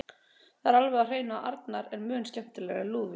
Það er alveg á hreinu að Arnar er mun skemmtilegri en Lúðvík.